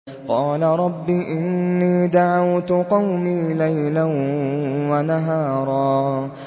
قَالَ رَبِّ إِنِّي دَعَوْتُ قَوْمِي لَيْلًا وَنَهَارًا